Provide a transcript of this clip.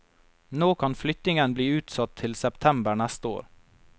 Nå kan flyttingen bli utsatt til september neste år.